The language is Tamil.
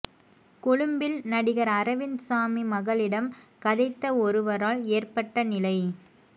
கொழும்பில் நடிகர் அரவிந்த் சாமி மகளிடம் கதைத்த ஒருவரால் ஏற்பட்ட நிலை